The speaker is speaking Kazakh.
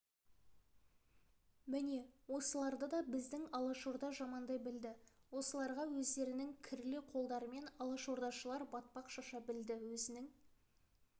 міне осыларды да біздің алашорда жамандай білді осыларға өздерінің кірлі қолдарымен алашордашылдар батпақ шаша білді өзінің